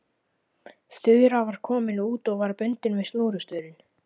Þura var komin út og var bundin við snúrustaurinn.